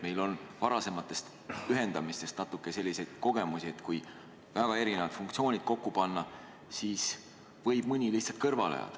Meil on varasematest ühendamistest natuke selliseid kogemusi, et kui väga erinevad funktsioonid kokku panna, siis võib mõni lihtsalt kõrvale jääda.